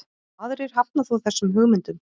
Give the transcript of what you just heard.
Aðrir hafna þó þessum hugmyndum.